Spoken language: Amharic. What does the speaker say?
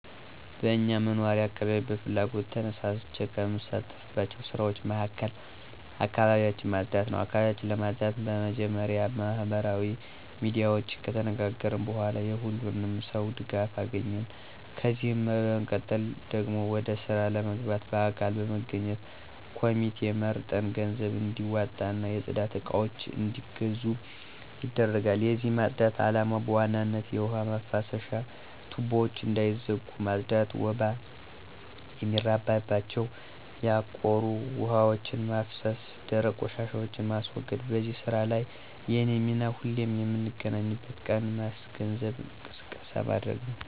በእኛ መኖሪያ አካባቢያች በፍላጎት ተነሳስቸ ከምሳተፍባቸው ስራወች መሀከል አካባቢያች ማፅዳት ነው። አካባቢያችን ለማፅዳት በመጀመሪያ በማህበራዊ ሚዲያወች ከተነጋገርን በኋላ የሁሉንም ሰው ድጋፍ አገኘን፤ ከዚህም በመቀጠል ደግሞ ወደ ስራ ለመግባት በአካል በመገናኘት ኮሚቴ መርጠን ገንዘብም እንዲዋጣና የፅዳት እቃወች አንዲገዙ ይደረጋል። የዚህ ማፅዳት አላማ በዋናነት የውሀ ማፍሰሻ ቱቦወች እንዳይዘጉ ማፅዳት፣ ወባ የሚራባቸው ያቆሩ ውሀወችን ማፍሰስ፣ ደረቅ ቆሻሻን ማስወገድ። በዚህ ስራ ላይ የኔ ሚና ሁሌም የምንገናኝበትን ቀን ማስገንዘብና ቅስቀሳ ማድረግ ነው።